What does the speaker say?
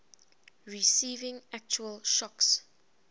receiving actual shocks